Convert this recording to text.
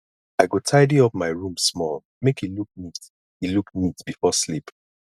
i go tidy up my room small make e look neat e look neat before sleep